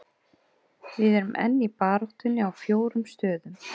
Við erum enn í baráttunni á fjórum stöðum.